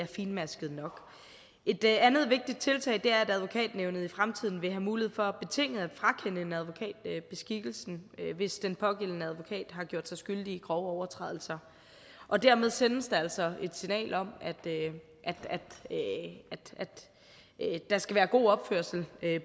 fintmasket nok et andet vigtigt tiltag er at advokatnævnet i fremtiden vil have mulighed for betinget at frakende en advokat beskikkelsen hvis den pågældende advokat har gjort sig skyldig i grove overtrædelser og dermed sendes der altså et signal om at der skal være god opførsel